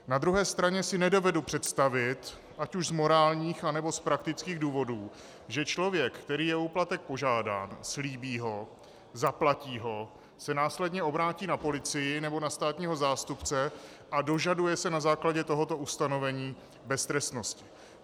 Na druhé straně si nedovedu představit, ať už z morálních, anebo z praktických důvodů, že člověk, který je o úplatek požádán, slíbí ho, zaplatí ho, se následně obrátí na policii nebo na státního zástupce a dožaduje se na základě tohoto ustanovení beztrestnosti.